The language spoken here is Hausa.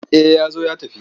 Eh ya zo ya tafi.